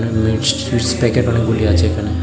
মিষ্টিরস packet অনেকগুলি আছে এখানে।